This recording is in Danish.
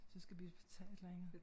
Så skal vi tage et eller andet